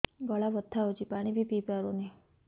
ଗଳା ବଥା ହଉଚି ପାଣି ବି ପିଇ ପାରୁନି